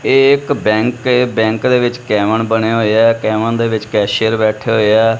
ਇਹ ਇੱਕ ਬੈਂਕ ਏ ਬੈਂਕ ਦੇ ਵਿੱਚ ਕੈਵਨ ਬਣੇ ਹੋਏ ਆ ਕੈਵਨ ਦੇ ਵਿੱਚ ਕੈਸ਼ੀਅਰ ਬੈਠੇ ਹੋਏ ਆ।